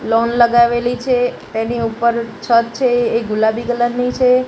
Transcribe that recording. Loan લગાવેલી છે તેની ઉપર છત છે એ ગુલાબી કલર ની છે.